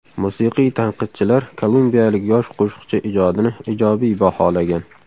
Musiqiy tanqidchilar kolumbiyalik yosh qo‘shiqchi ijodini ijobiy baholagan.